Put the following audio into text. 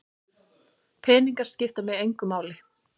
Peningar skipta mig engu máli.